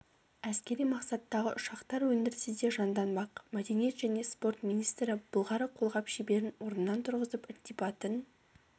әскери мақсаттағы ұшақтар өндірісі де жанданбақ мәдениет және спорт министрі былғары қолғап шеберін орнынан тұрғызып ілтипатын